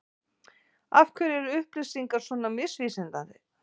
Af hverju er upplýsingar svona misvísandi?